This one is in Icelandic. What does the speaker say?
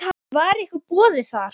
Var ykkur boðið það?